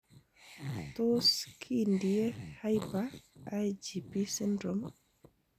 Tos kindie hyper IgD syndrome?